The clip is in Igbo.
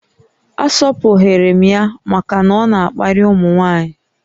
A sọpụghịrị m ya màkà na ọ na-akparị ụmụnwaanyi